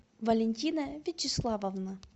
валентина вячеславовна